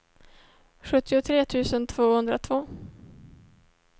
sjuttiotre tusen tvåhundratvå